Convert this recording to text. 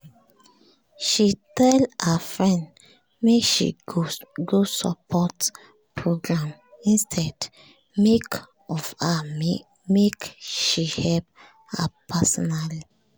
she tell her friend make she go support program instead make of her make she help her personally